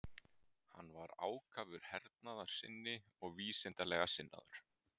Hann var ákafur hernaðarsinni og vísindalega sinnaður.